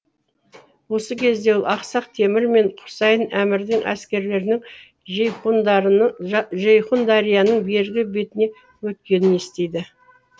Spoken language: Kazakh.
осы кезде ол ақсақ темір мен құсайын әмірдің әскерлерінің жейхундарияның бергі бетіне өткенін естиді